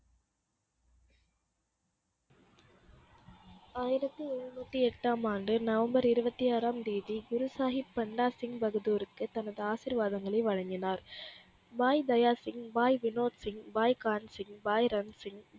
ஆயிரத்து எழுனுத்தி எட்டாம் ஆண்டு நவம்பர் இருபத்தி ஆறாம் தேதி குரு சாகிப் பந்தாசிப் பகதூர்க்கு தனது ஆசிர்வாதங்களை வழங்கினார் பாய் தயாத் சிங் பாய் வினோத் சிங் பாய் கான்சிங் பாய் ரன்சிங்